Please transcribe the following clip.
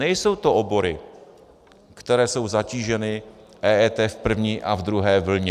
Nejsou to obory, které jsou zatíženy EET v první a v druhé vlně.